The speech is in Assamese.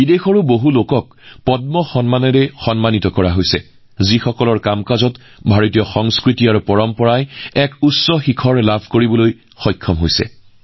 বিদেশৰ বহু লোককো পদ্ম বঁটাৰে সন্মানিত কৰা হৈছে যাৰ কৰ্মই ভাৰতীয় সংস্কৃতি আৰু ঐতিহ্যক নতুন উচ্চতা প্ৰদান কৰিছে